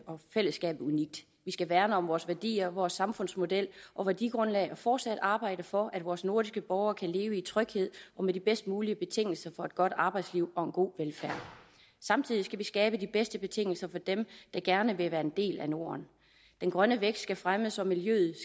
og fællesskab unikt vi skal værne om vores værdier vores samfundsmodel og værdigrundlag og fortsat arbejde for at vores nordiske borgere kan leve i tryghed og med de bedst mulige betingelser for et godt arbejdsliv og en god velfærd samtidig skal vi skabe de bedste betingelser for dem der gerne vil være en del af norden den grønne vækst skal fremmes og miljøet